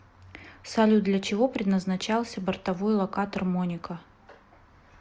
салют для чего предназначался бортовой локатор моника